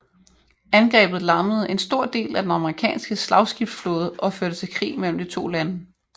Angrebet lammede en stor del af den amerikanske slagskibsflåde og førte til krig mellem de to lande